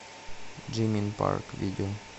джимин парк видео